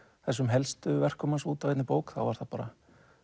þessum helstu verkum hans út á einni bók þá var það bara